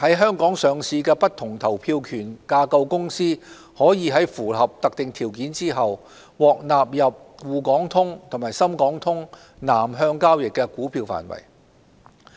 在港上市的不同投票權架構公司可在符合特定條件後，獲納入滬港通和深港通南向交易的股票範圍。